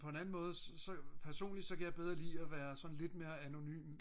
på en anden måde så personligt så kan jeg bedre lide at være sådan lidt mere anonym